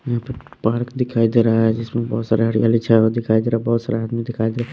यहां पर पार्क दिखाई दे रहा है जिसमें बहुत सारे हरियाली छाए हुए दिखाई दे रहा बहुत सारे आदमी दिखाई दे--